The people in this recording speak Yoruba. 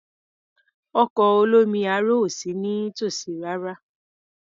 Ọkọ̀ olómi aro ò sí nítòsí rárá.